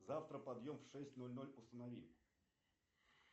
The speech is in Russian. завтра подъем в шесть ноль ноль установи